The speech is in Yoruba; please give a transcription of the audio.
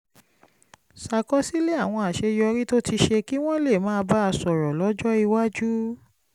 ṣàkọsílẹ̀ àwọn àṣeyọrí tó ti ṣe kí wọ́n lè máa bá a sọ̀rọ̀ lọ́jọ́ iwájú